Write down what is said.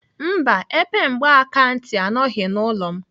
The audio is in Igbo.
Mba, epe mgbakantị anọghị n'ụlọ m